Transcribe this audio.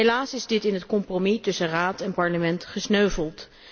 Helaas is dit in het compromis tussen Raad en Parlement gesneuveld.